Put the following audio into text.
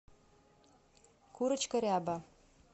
курочка ряба